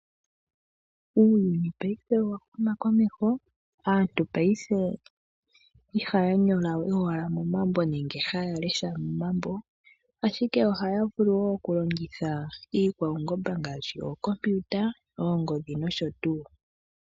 Uuyuni ngashingeyi owa huma komeho, aantu paife ihaya nyola we aluhe momambo nenge haya lesha momambo, ashike ohaya vulu wo okulongitha uutekinolohi ngaashi ookompiuta, oongodhi nosho tuu.